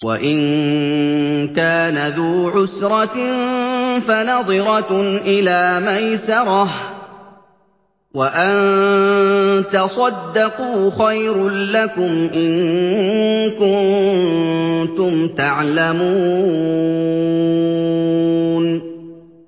وَإِن كَانَ ذُو عُسْرَةٍ فَنَظِرَةٌ إِلَىٰ مَيْسَرَةٍ ۚ وَأَن تَصَدَّقُوا خَيْرٌ لَّكُمْ ۖ إِن كُنتُمْ تَعْلَمُونَ